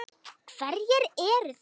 Hverjir eru þar?